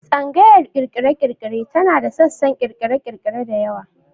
Tsangayar ƙirƙire-ƙirƙire tana da sassan ƙirƙire-ƙirƙire da yawa.